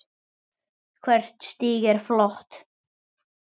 Hvert stig er flott.